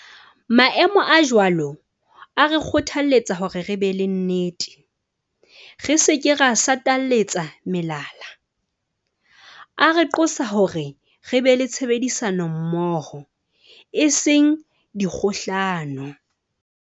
Maemo a jwalo a re kgothaletsa hore re be le nnete, re se ke ra satalatsa melala. A re qosa hore re be le tshebedisa nommoho, e seng dikgohlano.